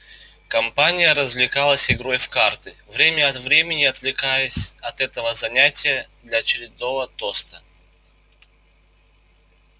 компания развлекалась игрой в карты время от времени отвлекаясь от этого занятия для очередного тоста